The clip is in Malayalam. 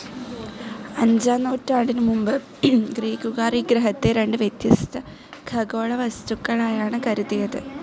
അഞ്ചാം നൂറ്റാണ്ടിനു മുൻപ് ഗ്രീക്കുകാർ ഈ ഗ്രഹത്തെ രണ്ട് വ്യത്യസ്ഥ ഖഗോള വസ്തുക്കളായാണ് കരുതിയത്.